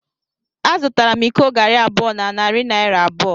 Azụtara m iko garri abụọ na narị naira abụọ.